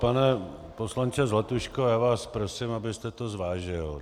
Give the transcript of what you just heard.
Pane poslanče Zlatuško, já vás prosím, abyste to zvážil.